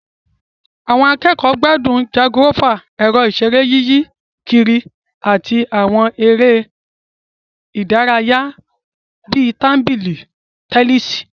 Àwọn akẹ́kọ̀ọ́ gbádùn jangolófà, ẹ̀rọ ìṣeré yíyí kiri, àti àwọn eré ìdárayá bíi tábìlì tẹnísì